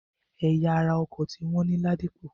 Ẹ̀ya ara ọkọ̀ ti wọ́n ní Ládípọ̀.